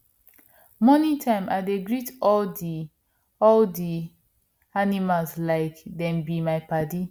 morning time i dey greet all di all di animals like dem be my padi